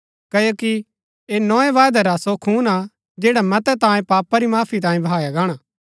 क्ओकि ऐह नोए वायदै रा सो खून हा जैडा मतै तांयें पापा री माफी तांयें बहाया गाणा हा